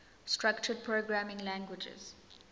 structured programming languages